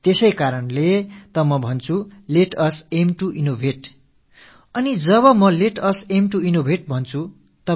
ஆகையால் தான் நான் let us aim to innovate புதுமைகள் படைப்பதைக் குறிக்கோளாக்குவோம் என்று கூறுகிறேன்